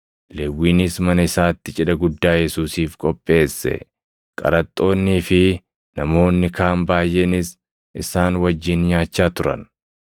Lewwiinis mana isaatti cidha guddaa Yesuusiif qopheesse; qaraxxoonnii fi namoonni kaan baayʼeenis isaan wajjin nyaachaa turan.